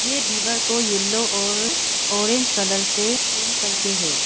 ये दीवार को येलो और ऑरेंज कलर से पेंट करके है।